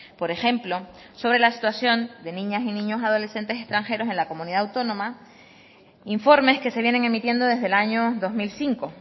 por ejemplo sobre la situación de niñas y niños adolescentes extranjeros en la comunidad autónoma informes que se vienen emitiendo desde el año dos mil cinco